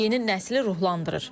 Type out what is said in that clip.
Yeni nəsli ruhlandırır.